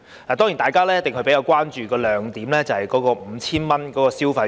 當然，大家比較關注的是 5,000 元消費券。